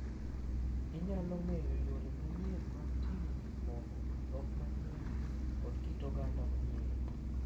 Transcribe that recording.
Inyalo ng’eyo yore manyien mag timo gik moko, dhok manyien, kod kit oganda manyien.